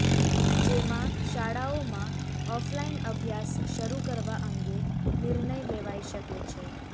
જેમાં શાળાઓમાં ઓફલાઈન અભ્યાસ શરૂ કરવા અંગે નિર્ણય લેવાઈ શકે છે